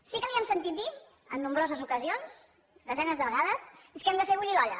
sí que li hem sentit dir en nombroses ocasions desenes de vegades és que hem de fer bullir l’olla